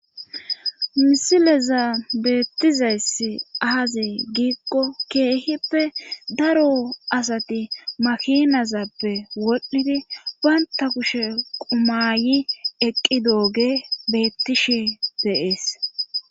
misileza beettizayssi aaze giikko keehippe daro asati makinazappe wodhdhidi banta kushe qumayi eqqidooge beettishi de'ees